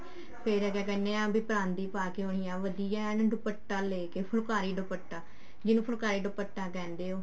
ਫ਼ੇਰ ਕਿਆ ਕਹਿਨੇ ਹਾਂ ਪਰਾਂਦੀ ਪਾ ਕੇ ਆਉਣੀ ਆ ਵਧੀਆ ਏਨ ਦੁਪੱਟਾ ਲੇਕੇ ਫੁਲਕਾਰੀ ਦੁਪੱਟਾ ਜਿਹਨੂੰ ਫੁਲਕਾਰੀ ਦੁਪੱਟਾ ਕਹਿੰਦੇ ਹੋ